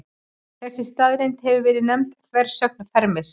Þessi staðreynd hefur verið nefnd þversögn Fermis.